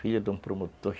Filho de um promotor.